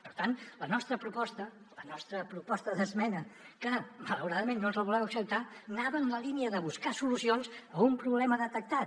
per tant la nostra proposta la nostra proposta d’esmena que malauradament no ens voleu acceptar anava en la línia de buscar solucions a un problema detectat